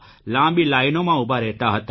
લાંબી લાઇનોમાં ઉભા રહેતા હતા